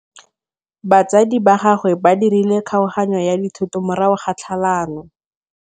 Batsadi ba gagwe ba dirile kgaoganyô ya dithoto morago ga tlhalanô.